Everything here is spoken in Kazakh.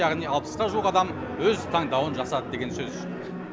яғни алпысқа жуық адам өз таңдауын жасады деген сөз